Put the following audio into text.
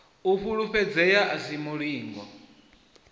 u fulufhedzea a si mulingo